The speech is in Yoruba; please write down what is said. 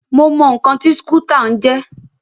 Mo mọ ǹkan tí skútà ń jẹ́.